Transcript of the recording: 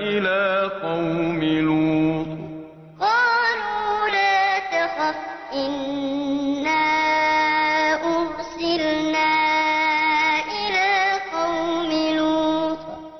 إِلَىٰ قَوْمِ لُوطٍ